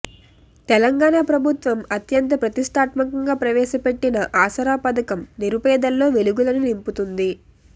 తెలంగాణ ప్రభుత్వం అత్యంత ప్రతిష్టాత్మకంగా ప్రవేశపెట్టిన ఆసరా పథకం నిరుపేదల్లో వెలుగులను నింపుతుంది